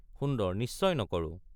সুন্দৰ—নিশ্চয় নকৰো।